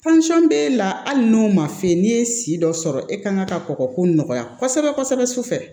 b'e la hali n'o ma f'i ye n'i ye si dɔ sɔrɔ e kan ka kɔkɔ ko nɔgɔya kosɛbɛ kosɛbɛ su fɛ